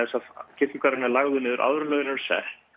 kirkjugarðurinn er lagður niður áður en lögin eru sett